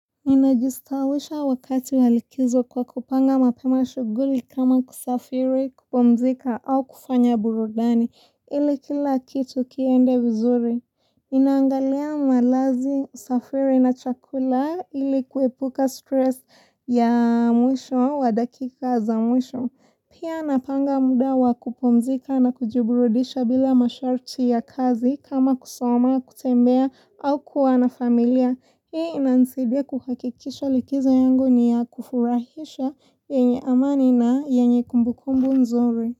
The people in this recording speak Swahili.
Minajistawisha wakati walikizo kwa kupanga mapema shughuli kama kusafiri, kupumzika au kufanya burudani ili kila kitu kiende vizuri. Naangalia malazi, usafiri na chakula ili kuepuka stress ya mwisho wa dakika za mwisho. Pia napanga muda wakupumzika na kujiburudisha bila masharti ya kazi kama kusoma, kutembea au kuwana familia. Hii inanisidia kuhakikisha likizo yangu ni ya kufurahisha yenye amani na yenye kumbukumbu mzuri.